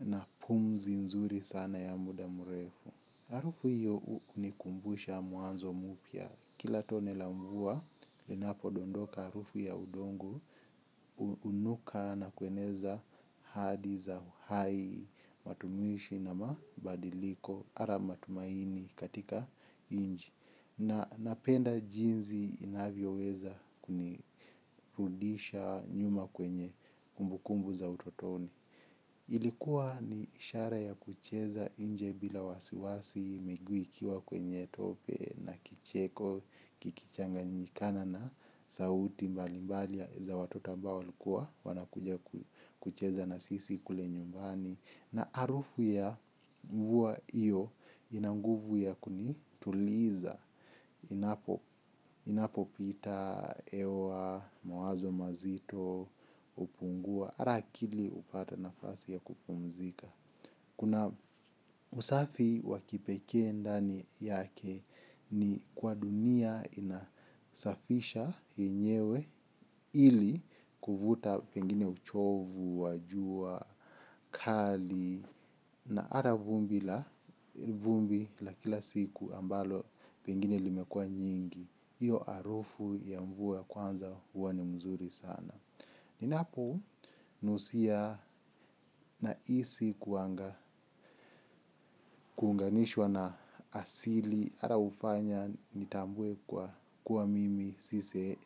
na pumzi nzuri sana ya muda mrefu. Harufu hiyo hunikumbusha mwanzo mpya. Kila tone la mvua, linapodondoka harufu ya udongo hunuka na kueneza hadi za hai, matumishi na mabadiliko, hata matumaini katika nchi. Na napenda jinsi inavyoweza kunirudisha nyuma kwenye kumbukumbu za utotoni. Ilikuwa ni ishara ya kucheza nje bila wasiwasi, miguu ikiwa kwenye tope na kicheko, kikichanganyikana na sauti mbali mbali za watoto ambao walikua, wanakuja kucheza na sisi kule nyumbani. Na harufu ya mvua hiyo ina nguvu ya kunituliza. Inapopita, hewa, mawazo mazito, hupungua, hata akili hupata nafasi ya kupumzika. Kuna usafi wa kipekee ndani yake ni kwa dunia inasafisha yenyewe ili kuvuta pengine uchovu, wa jua, kali. Na hata vumbi la vumbi la kila siku ambalo pengine limekua nyingi hiyo harufu ya mvua ya kwanza huwa ni mzuri sana ninaponusia nahisi kuunganishwa na asili hata hufanya nitambue kuwa mimi